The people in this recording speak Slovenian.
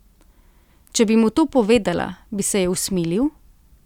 Če bi mu to povedala, bi se je usmilil?